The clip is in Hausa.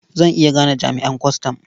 Zan iya gane jami'an kwastam.